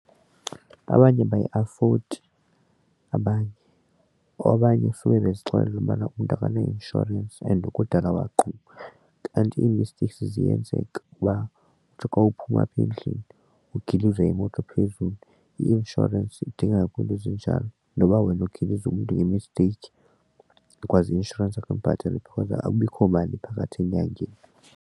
Abanye abayiafodi abanye. Abanye sube bezixelela ukubana umntu akana-insurance and kudala waqhuba kanti ii-mistakes ziyenzeka, uba uthi xa uphuma apha endlini uglizwe yimoto phezulu. I-inshorensi udingeka kwiinto ezinjalo noba wena ugilize umntu ngemisteyikhi ikwazi i-inshorensi ke imbhatele because akubikho mali phakathi enyangeni.